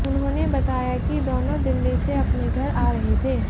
उन्होंने बताया कि दोनों दिल्ली से अपने घर आ रहे थे